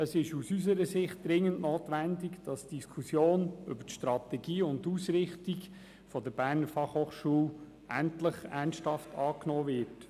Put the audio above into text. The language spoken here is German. Es ist aus unserer Sicht dringend notwendig, dass die Diskussion über die Strategie und die Ausrichtung der BFH endlich ernsthaft aufgenommen wird.